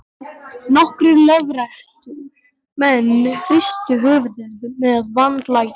Nokkrir lögréttumenn hristu höfuðið með vandlætingu.